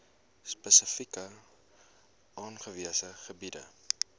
spesifiek aangewese gebiede